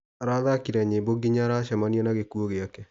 Arathakire nyĩmbo nginya aracemania na gĩkuo gĩake.